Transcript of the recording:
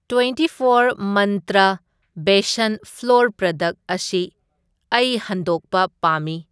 Twenty four Mantra besan flour product ꯑꯁꯤ ꯑꯩ ꯍꯟꯗꯣꯛꯄ ꯄꯥꯝꯃꯤ꯫